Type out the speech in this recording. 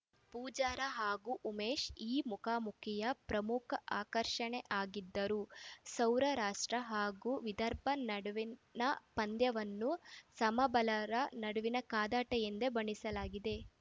ಪೂಜಾರ ಹಾಗೂ ಉಮೇಶ್‌ ಈ ಮುಖಾಮುಖಿಯ ಪ್ರಮುಖ ಆಕರ್ಷಣೆಯಾಗಿದ್ದರೂ ಸೌರ ರಾಷ್ಟ್ರ ಹಾಗೂ ವಿದರ್ಭ ನಡುವಿನ ಪಂದ್ಯವನ್ನು ಸಮಬಲರ ನಡುವಿನ ಕಾದಾಟ ಎಂದೇ ಬಣ್ಣಿಸಲಾಗಿದೆ